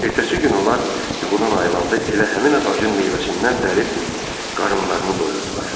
Ertəsi gün onlar yuxudan ayılanda elə həmin ağacın meyvəsindən dərib qarınlarını doyurdular.